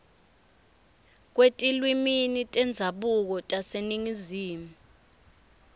kwetilwimi tendzabuko taseningizimu